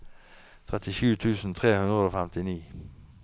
trettisju tusen tre hundre og femtini